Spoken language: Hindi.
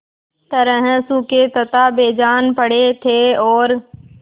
तरह सूखे तथा बेजान पड़े थे और